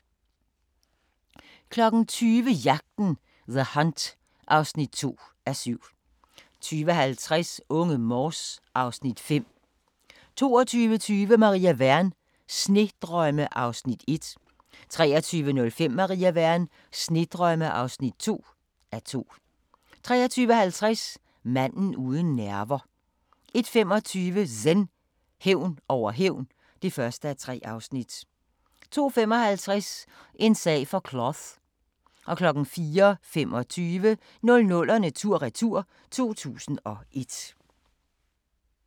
20:00: Jagten – The Hunt (2:7) 20:50: Unge Morse (Afs. 5) 22:20: Maria Wern: Snedrømme (1:2) 23:05: Maria Wern: Snedrømme (2:2) 23:50: Manden uden nerver 01:25: Zen: Hævn over hævn (1:3) 02:55: En sag for Cloth 04:25: 00'erne tur-retur: 2001